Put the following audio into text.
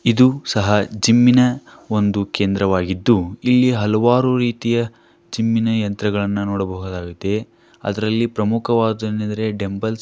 ಇದು ಸಹ ಜಿಮ್ ಇನ ಒಂದು ಕೇಂದ್ರವಾಗಿದ್ದು ಇಲ್ಲಿ ಹಲವಾರು ರೀತಿಯ ಜಿಮ್ ಇನ ಯಂತ್ರಣಗಳನ್ನ ನೋಡಬಹುದಾಗಿದೆ. ಅದರಲ್ಲಿ ಪ್ರಮುಖವಾದೇನಂದ್ರೆ ಏನೆಂದರೆ ಡಂಬ್ಬೆಲ್ಸ್ --